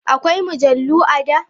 Akwai mujallu a da?